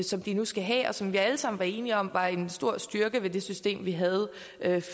som de nu skal have og som vi alle sammen var enige om var en stor styrke ved det system vi havde